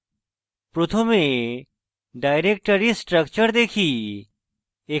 প্রথমে directory structure দেখি